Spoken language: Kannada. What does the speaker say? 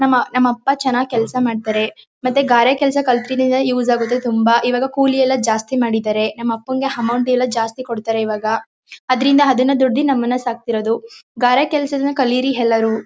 ನಮ್ಮ ನಮ್ ಅಪ್ಪ ಚೆನಾಗ್ ಕೆಲಸ ಮಾಡ್ತಾರೆ. ಮತ್ತೆ ಗಾರೆ ಕೆಲ್ಸ ಕಲ್ತಿನುವೆ ಯೂಸ್ ಆಗುತ್ತೆ ತುಂಬಾ. ಇವಾಗ ಕೂಲಿ ಎಲ್ಲ ಜಾಸ್ತಿ ಮಾಡಿದ್ದಾರೆ. ನಮ್ ಅಪ್ಪಂಗೆ ಅಮೌಂಟ್ ಎಲ್ಲ ಜಾಸ್ತಿ ಕೊಡ್ತಾರೆ. ಇವಾಗ ಅದ್ರಿಂದ ಅದುನ್ನ ದುಡ್ದಿ ನಮುನ್ನ ಸಾಕ್ತಿರೋದು. ಗಾರೆ ಕೆಲ್ಸಗಳನ್ನು ಕಲೀರಿ ಎಲ್ಲರೂ .